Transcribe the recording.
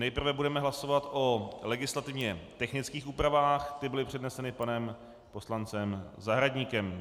Nejprve budeme hlasovat o legislativně technických úpravách, ty byly předneseny panem poslancem Zahradníkem.